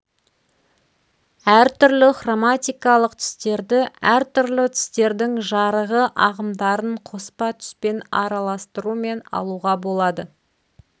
әртүрлі хроматикалық түстерді әртүрлі түстердің жарығы ағымдарын қоспа түспен араластырумен алуға болады